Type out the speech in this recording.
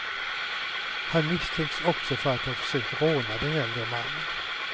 Han misstänks också för att ha försökt råna den äldre mannen.